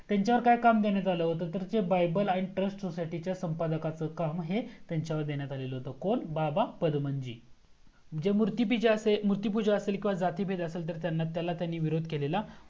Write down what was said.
त्यांच्यावर काय काम देण्यात आला होता तर BIBLE आणि TRUST SOCIETY च्या संपदाकाचा काम हे त्यांच्यावर देण्यात आल होत कोण बाबा पदमांजी जे मूर्ति पुजा असेल किव्हा जातिभेद असेल तर त्याला त्यांनी विरोध केला हो